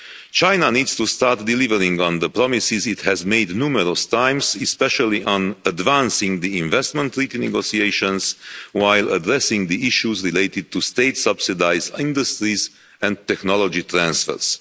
China needs to start delivering on the promises it has made numerous times, especially on advancing the investment treaty negotiations while addressing the issues related to state-subsidised industries and technology transfers.